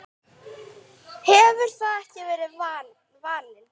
hefur það ekki verið vaninn?